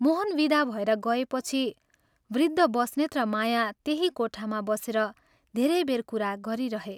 मोहन विदा भएर गएपछि वृद्ध बस्नेत र माया त्यही कोठामा बसेर धेरै बेर कुरा गरिरहे।